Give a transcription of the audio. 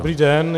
Dobrý den.